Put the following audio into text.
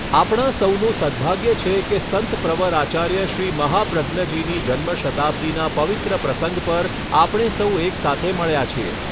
આપણાં સૌનું સદભાગ્ય છે કે સંત પ્રવર આચાર્ય શ્રી મહાપ્રજ્ઞજીની જન્મ શતાબ્દીના પવિત્ર પ્રસંગ પર આપણે સૌ એકસાથે મળ્યા છીએ.